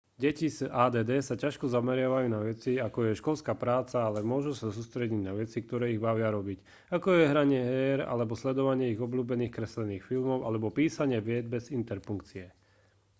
deti s add sa ťažko zameriavajú na veci ako je školská práca ale môžu sa sústrediť na veci ktoré ich bavia robiť ako je hranie hier alebo sledovanie ich obľúbených kreslených filmov alebo písanie viet bez interpunkcie